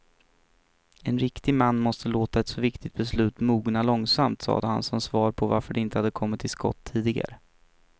En riktig man måste låta ett så viktigt beslut mogna långsamt, sade han som svar på varför de inte kommit till skott tidigare.